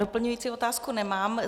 Doplňující otázku nemám.